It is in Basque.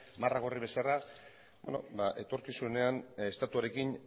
marra gorri bezala etorkizunean estatuarekin